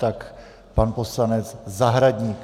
Tak pan poslanec Zahradník.